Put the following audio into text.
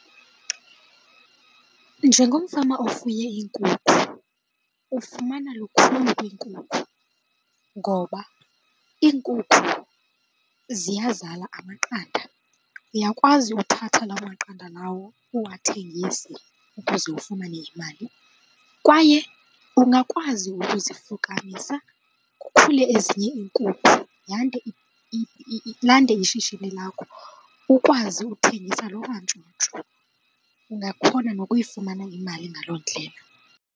Njengomfama ofuye iinkukhu ufumana lukhulu kwiinkukhu ngoba iinkukhu ziyazala amaqanda. Uyakwazi uthatha lawo maqanda lawo uwathegise ukuze ufumane imali kwaye ungakwazi ukuzifukamisa kukhule ezinye iinkukhu yande , lande ishishini lakho ukwazi uthengisa loo mantshontsho. Ungakhona nokuyifumana imali ngaloo ndlela.